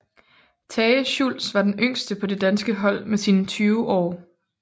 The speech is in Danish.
Tage Schultz var den yngste på det danske hold med sine 20 år